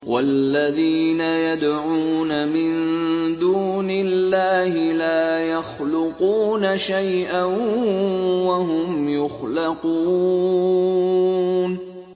وَالَّذِينَ يَدْعُونَ مِن دُونِ اللَّهِ لَا يَخْلُقُونَ شَيْئًا وَهُمْ يُخْلَقُونَ